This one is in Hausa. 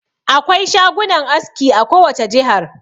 Akwai shagunan aski a kowace jihar.